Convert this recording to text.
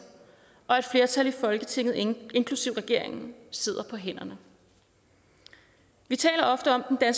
og et flertal i folketinget inklusive regeringen sidder på hænderne vi taler ofte om at